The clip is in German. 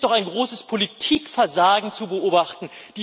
Hier ist doch ein großes Politikversagen zu beobachten.